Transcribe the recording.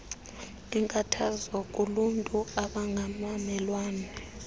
inkathazo kuluntu abangabamelwane